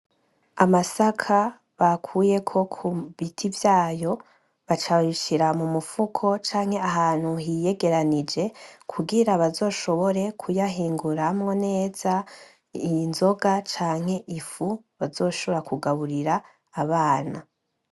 Amasaka bakuyeko bu biti vyayo baca babishira mu mufuko canke ahantu hiyegeranije, kugira bazoshobore kuyahinguramwo neza inzoga canke ifu bazoshobora kugaburira abana.